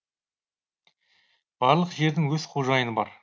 барлық жердің өз қожайыны бар